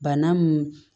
Bana mun